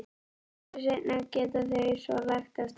Nokkru seinna geta þau svo lagt af stað.